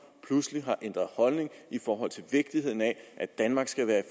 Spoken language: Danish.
pludselig har ændret holdning til vigtigheden af at danmark skal være